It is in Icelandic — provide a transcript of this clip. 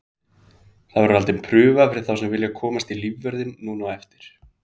Það verður haldin prufa fyrir þá sem vilja komast í lífvörðinn núna á eftir.